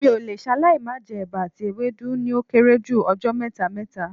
Mi ò le ṣaláì má jẹ́ ẹba àti ewédú ní ó kéré jù ọjọ́ mẹ́ta mẹ́ta